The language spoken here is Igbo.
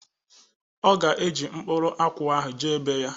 Ọ ga-eji mkpụrụ akwụ ahụ jee bee ya